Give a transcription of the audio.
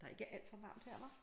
Der er ikke alt for varmt her hva?